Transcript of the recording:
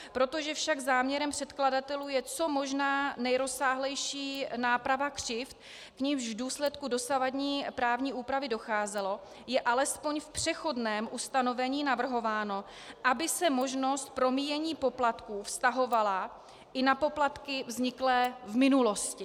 Protože však záměrem předkladatelů je co možná nejrozsáhlejší náprava křivd, k nimž v důsledku dosavadní právní úpravy docházelo, je alespoň v přechodném ustanovení navrhováno, aby se možnost promíjení poplatků vztahovala i na poplatky vzniklé v minulosti.